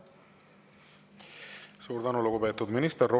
Suur tänu, lugupeetud minister!